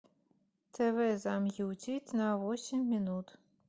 тв замьютить на восемь минут